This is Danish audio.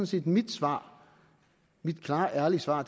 set mit svar mit klare ærlige svar